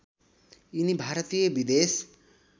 यिनी भारतीय विदेश